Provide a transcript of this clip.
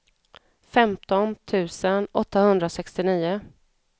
femton tusen åttahundrasextionio